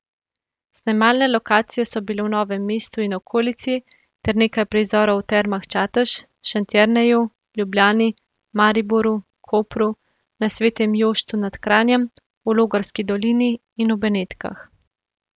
Snemalne lokacije so bile v Novem mestu in okolici ter nekaj prizorov v Termah Čatež, Šentjerneju, Ljubljani, Mariboru, Kopru, na Svetem Joštu nad Kranjem, v Logarski dolini in v Benetkah.